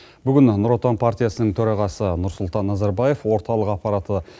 бүгін нұр отан партиясының төрағасы нұрсұлтан назарбаев орталық аппараты